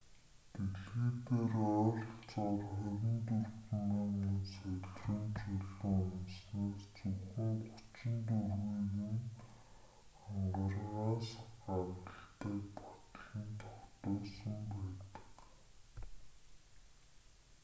дэлхий дээр ойролцоогоор 24,000 солирын чулуу унаснаас зөвхөн 34-ийг нь ангаргаас гаралтайг батлан тогтоосон байдаг